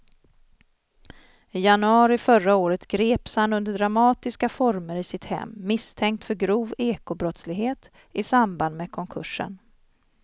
I januari förra året greps han under dramatiska former i sitt hem misstänkt för grov ekobrottslighet i samband med konkursen.